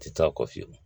Tɛ taa kɔ fiyewu